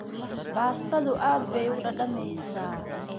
Baastadu aad bay u dhadhamaysaa.